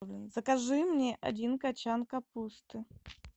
закажи мне один кочан капусты